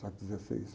dezesseis.